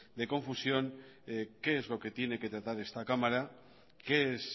de confusión qué es lo que tiene que tratar esta cámara qué es